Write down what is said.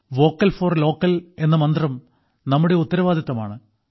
vocal for local എന്ന മന്ത്രം നമ്മുടെ ഉത്തരവാദിത്തമാണ്